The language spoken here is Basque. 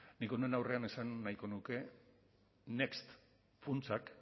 nik honen aurrean esan nahiko nuke next funtsak